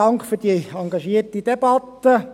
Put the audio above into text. Dank für diese engagierte Debatte.